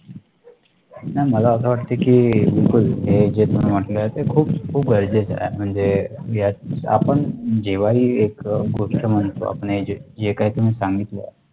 नाही मला वाटते की बिलकुल हे जे तुम्ही म्हटले आहे ते खूप खूप गरजेच आहे म्हणजे यात आपण जेव्हा ही एक अह गोष्ट म्हणतो, आपण हे जे काही तुम्ही सांगितले